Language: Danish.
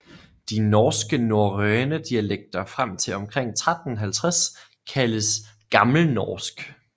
De norske norrøne dialekter frem til omkring 1350 kaldes gammelnorsk